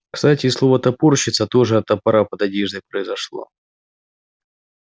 кстати и слово топорщится тоже от топора под одеждой произошло